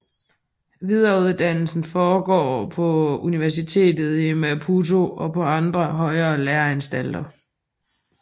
Videreuddannelse foregår på universitetet i Maputo og på andre højere læreanstalter